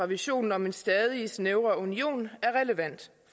visionen om en stadig snævrere union er relevant